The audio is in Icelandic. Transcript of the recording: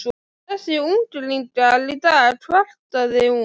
Þessir unglingar í dag kvartaði hún.